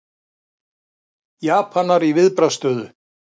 Japanar í viðbragðsstöðu